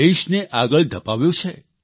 દેશને આગળ ધપાવ્યો છે